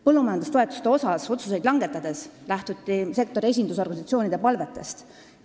Põllumajandustoetuste kohta otsuseid langetades lähtuti sektori esindusorganisatsioonide palvetest.